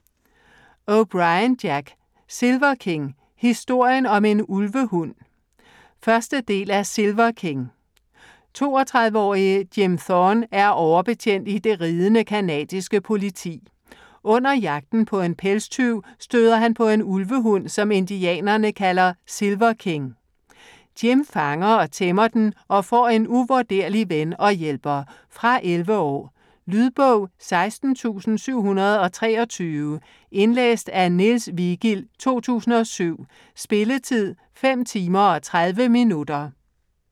O'Brien, Jack: Silver King: historien om en ulvehund 1. del af Silver King. 32-årige Jim Thorne er overbetjent i Det ridende, canadiske Politi. Under jagten på en pelstyv støder han på en ulvehund, som indianerne kalder Silver King. Jim fanger og tæmmer den og får en uvurderlig ven og hjælper. Fra 11 år. Lydbog 16723 Indlæst af Niels Vigild, 2007. Spilletid: 5 timer, 30 minutter.